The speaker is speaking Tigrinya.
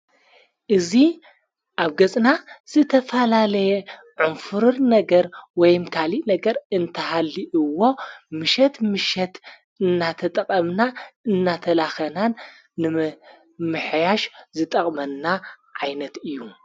እዙ ኣብ ገጽና ዝተፋላለየ ዑምፍሩር ነገር ወይምካሊ ነገር እንተሃሊእዎ ምሸት ምሸት እናተጠቐምና እናተላኸናን ንምሕያሽ ዝጠቕመና ዓይነት እዩ።